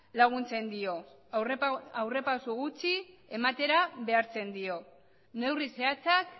laguntzen dio aurrerapauso gutxi ematera behartzen dio neurri zehatzak